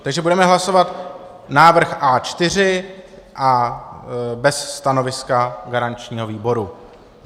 Takže budeme hlasovat návrh A4 bez stanoviska garančního výboru.